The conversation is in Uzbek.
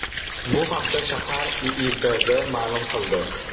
Bu haqda shahar IIBB ma’lum qildi .